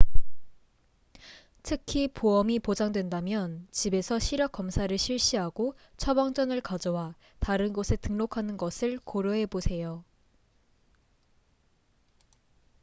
특히 보험이 보장된다면 집에서 시력 검사를 실시하고 처방전을 가져와 다른 곳에 등록하는 것을 고려해보세요